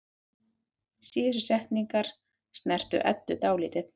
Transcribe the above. Síðustu setningarnar snertu Eddu dálítið.